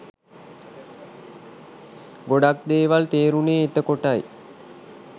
ගොඩක් දේවල් තේරුනේ එතකොටයි